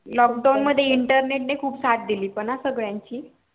lockdown मध्ये internet नि खूप साथ दिली हा सगळयांची